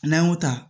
N'an y'o ta